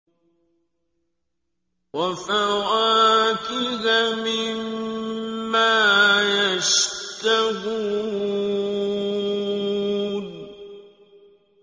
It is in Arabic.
وَفَوَاكِهَ مِمَّا يَشْتَهُونَ